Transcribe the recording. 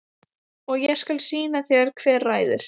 Og ég skal sýna þér hver ræður.